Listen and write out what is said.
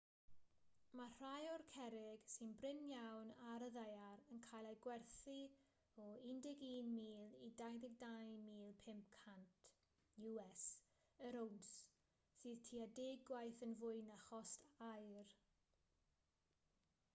mae rhai o'r cerrig sy'n brin iawn ar y ddaear yn cael eu gwerthu o us$11,000 i $22,500 yr owns sydd tua deg gwaith yn fwy na chost aur